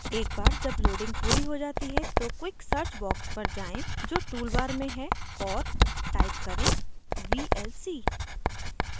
एक bar जब loading पूरी हो जाती है तो quick search box पर जाएँ जो tool bar में है और type करें vlc